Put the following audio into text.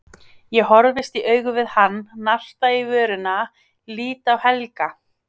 Ég horfist í augu við hann, narta í vörina, lít á Helga.